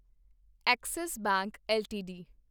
Axis bank LTD